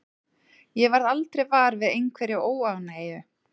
Ég varð aldrei var við einhverja óánægju.